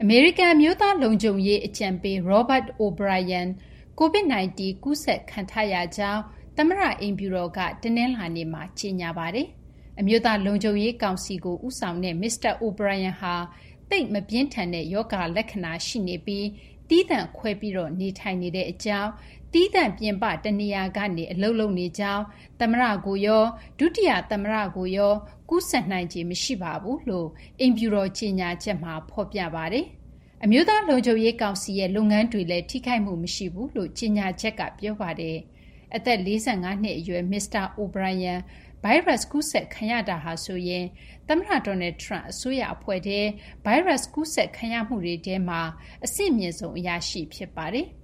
မေရိကန် အမျိုးသား လုံခြုံရေး အကြံပေး Robert O’Brien ကိုဗစ်- ၁၉ ကူးစက်ခံထားရကြောင်း သမ္မတ အိမ်ဖြူတော်က တနလာၤနေ့မှာ ကြေညာပါတယ်။ အမျိုးသား လုံခြုံရေး ကောင်စီကို ဦးဆောင်သူ မစ္စတာ O’Brien ဟာ သိပ်မပြင်းထန်တဲ့ ရောဂါ လက္ခဏာ ရှိနေပြီး သီးသန့်ခွဲ နေထိုင်နေကြောင်း၊ သီးသန့်ပြင်ပ တနေရာကနေ အလုပ်လုပ်နေကြောင်း၊ သမ္မတ ကိုရော ဒုတိယ သမ္မတကိုရော ကူးစက်နိုင်ချေ မရှိကြောင်း အိမ်ဖြူတော် ကြေညာချက်မှာ ဖော်ပြပါတယ်။ အမျိုးသား လုံခြုံရေး ကောင်စီရဲ့ လုပ်ငန်းတွေလည်း ထိခိုက်မှု မရှိကြောင်းလည်း ကြေညာချက်မှာ ဖော်ပြပါတယ်။ အသက် ၄၅ နှစ် အရွယ် မစ္စတာ O’Brien ဗိုင်းရပ်စ် ကူးစက်ခံရတာဟာဆိုရင် သမ္မတ Donald Trump အစိုးရ အဖွဲ့ထဲမှာ ဗိုင်းရပ်စ် ကူးစက်မှုတွေထဲ အဆင့်မြင့်ဆုံး အရာရှိ ဖြစ်ပါတယ်။